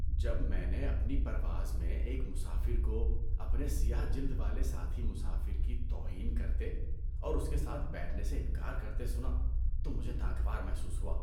جب میں نے اپنی پرواز میں ایک مسافر کو اپنے سیاہ جلد والے ساتھی مسافر کی توہین کرتے اور اس کے ساتھ بیٹھنے سے انکار کرتے سنا تو مجھے ناگوار محسوس ہوا۔